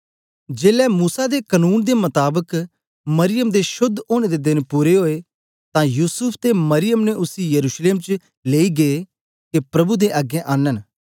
जेलै मूसा दे कनून दे मताबक मरियम दे शोद्ध ओनें दे देन पूरे ओए तां युसूफ ते मरियम ने उसी यरूशलेम च लेई गै के प्रभु दे अगें आनन